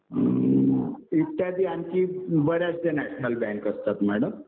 इत्यादी आणखी बऱ्याचशा नॅशनल बँक असतात मॅडम.